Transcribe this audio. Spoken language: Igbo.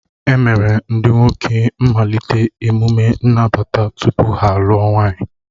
E mere ndị nwoke malite emume nnabata tupu ha alụọ nwaanyị